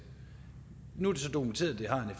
nu er det så dokumenteret at